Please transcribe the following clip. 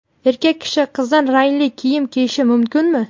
Erkak kishi qizil rangli kiyim kiyishi mumkinmi?.